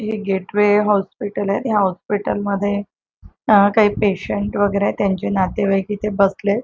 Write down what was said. ही Gateway हॉस्पिटले या hospital मध्ये अ काई पेशंट वगैरेयेत त्यांचे नातेवाईक इथे बसलेत.